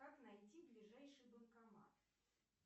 как найти ближайший банкомат